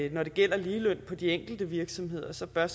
at når det gælder ligeløn på de enkelte virksomheder så bør